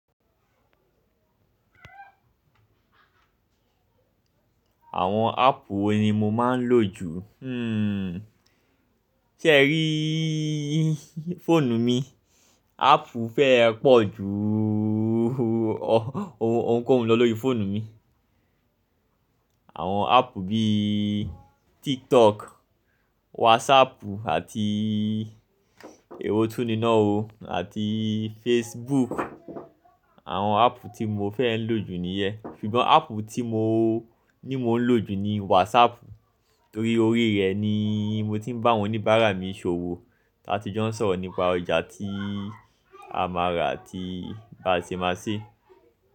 Àwọn àpp wo ni mo máa ń lò jù? Sé ẹ ríí fọ́ọ̀nù mi? Àpp fẹ́ ẹ pọ̀ ju ohunkóhun lọ lórí fóònù mi. Àwon àpp bí tiktok, WhatsApp, èwò tún ní náà ó, àti facebook. Àwọn àpp tí mo fẹ́ ń lò jù nìyẹn. Ṣùgbọ́n àpp tí mo ní mo ń lò jù ni WhatsApp, torí orí rẹ̀ ni mo ti ń bá àwọn oníbàárà mi ṣòwò táti jó ń sọ̀rọ̀ nípa ọjà tí a máa rà àti báa ṣe máa ṣe.